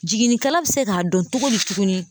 Jiginnikɛla bɛ se k'a dɔn cogo di tuguni.